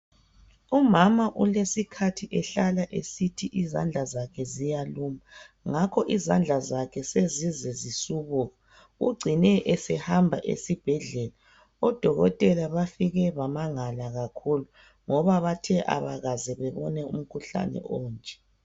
Umama olesikhathi ehlala esithi izandla zakhe ziyaluma ngakho izandla zakhe sezize zisubuka ugcine ehamba esibhedlela odokotela bafike bamangala kakhulu ngoba bathe abakaze bebone umkhuhlane onje.